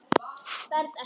Berð ekki.